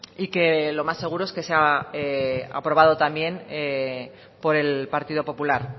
y que lo más seguro es que sea aprobado también por el partido popular